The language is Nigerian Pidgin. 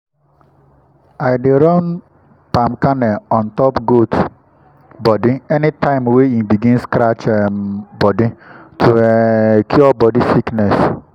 i dey run palm kernel oil on top goat body anytime wey e begin scratch um body to um cure body sickness.